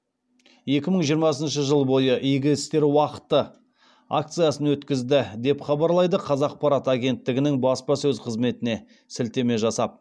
екі мың жиырмасыншы жыл бойы игі істер уақыты акциясын өткізді деп хабарлайды қазақпарат агенттігінің баспасөз қызметіне сілтеме жасап